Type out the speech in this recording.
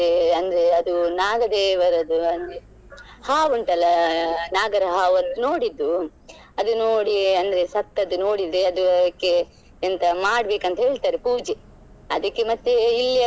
ಅಂದ್ರೆ ಅದು ನಾಗ ದೇವರದ್ದು ಅಂದ್ರೆ ಹಾವು ಉಂಟಲ್ಲ ನಾಗರ ಹಾವದ್ದು ನೋಡಿದ್ದು ಅದು ನೋಡಿ ಅಂದ್ರೆ ಸತ್ತದ್ದು ನೋಡಿಡ್ರೆ ಅದು ಅದಕ್ಕೆ ಎಂತ ಮಾಡ್ಬೇಕು ಅಂತ ಹೇಳ್ತಾರೆ ಪೂಜೆ ಅದಕ್ಕೆ ಮತ್ತೆ ಇಲ್ಲಿ ಎಲ್ಲ.